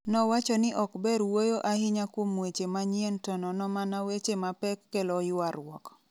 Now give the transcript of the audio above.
Nowacho ni ok ber wuoyo ahinya kuom weche manyien to nono mana weche mapek kelo ywaruok.